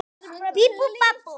Lítum til vors lands.